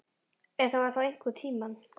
Ef það var þá einhvern tíma.